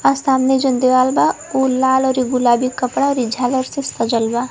और सामने जउन दीवाल बा उ लाल अउरी गुलाबी कपड़ा अउरी झालर से सजल बा।